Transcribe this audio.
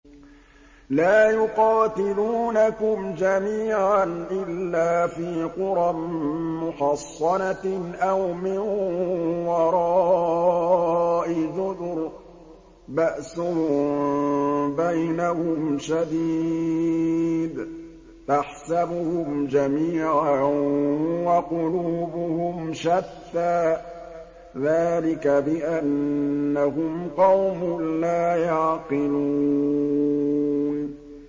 لَا يُقَاتِلُونَكُمْ جَمِيعًا إِلَّا فِي قُرًى مُّحَصَّنَةٍ أَوْ مِن وَرَاءِ جُدُرٍ ۚ بَأْسُهُم بَيْنَهُمْ شَدِيدٌ ۚ تَحْسَبُهُمْ جَمِيعًا وَقُلُوبُهُمْ شَتَّىٰ ۚ ذَٰلِكَ بِأَنَّهُمْ قَوْمٌ لَّا يَعْقِلُونَ